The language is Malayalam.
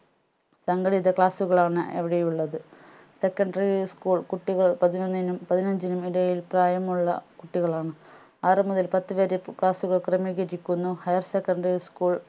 സംഘടിത class സുകളാണ് അവിടെ ഉള്ളത് secondary school കുട്ടികൾ പതിനൊന്നിനും പതിനഞ്ചിനും ഇടയിൽ പ്രായമുള്ള കുട്ടികളാണ് ആറു മുതൽ പത്തുവരെ class കൾ ക്രമീകരിക്കുന്നു higher secondary school